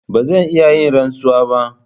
Ba zan iya yin rantsuwa ba.